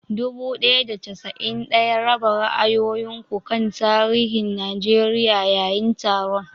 Dubu ɗaya da casa'in ɗaya, raba ra'ayoyin ku kan tarihin Najeriya yayin taron.